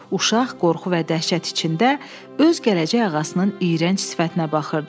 Uşaq qorxu və dəhşət içində öz gələcək ağasının iyrənc sifətinə baxırdı.